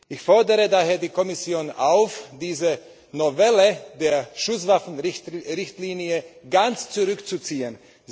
Ich fordere daher die Kommission auf, diese Novelle der Schusswaffenrichtlinie ganz zurückzuziehen.